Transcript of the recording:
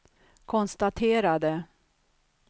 konstaterade